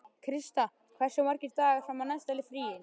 Krista, hversu margir dagar fram að næsta fríi?